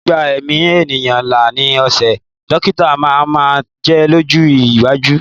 Gbígba ẹ̀mí ènìyàn là ni iṣẹ́ dọ́kítà máa máa jẹ́ lọ́jọ́ iwájú.